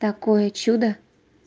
такое чудо